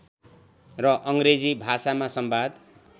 र अङ्ग्रेजी भाषामा सम्वाद